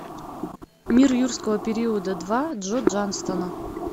мир юрского периода два джо джонстона